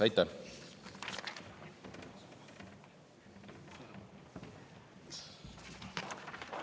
Aitäh!